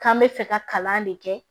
K'an bɛ fɛ ka kalan de kɛ